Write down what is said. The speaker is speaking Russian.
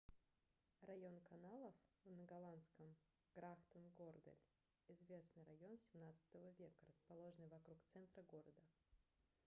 район каналов на голландском: grachtengordel — известный район 17 века расположенный вокруг центра города